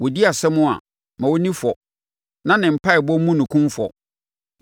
Wɔdi nʼasɛm a, ma ɔnni fɔ, na ne mpaeɛbɔ mmu no kumfɔ.